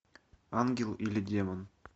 ангел или демон